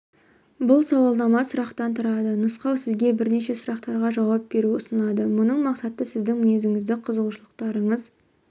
бұл сауалнама сұрақтан тұрады нұсқау сізге бірнеше сұрақтарға жауап беру ұсынылады мұның мақсаты сіздің мінезіңіз қызығушылықтарыңыз